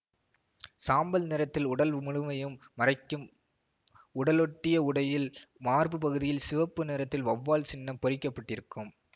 சாம்பல் நிறத்தில் உடல் முழுமையும் மறைக்கும் உடலொட்டிய உடையில் மார்பு பகுதியில் சிவப்பு நிறத்தில் வவ்வால் சின்னம் பொறிக்க பட்டிருக்கும்